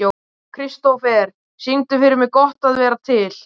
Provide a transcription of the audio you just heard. Kristofer, syngdu fyrir mig „Gott að vera til“.